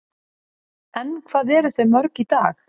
En hvað eru þau mörg í dag?